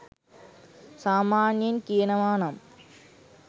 සාමාන්‍යයෙන් කියනවා නම්